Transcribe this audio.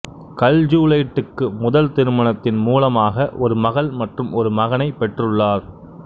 கல்ஜுலைட்டுக்கு முதல் திருமணத்தின்மூலமாக ஒரு மகள் மற்றும் ஒரு மகனைப் பெற்றுள்ளார்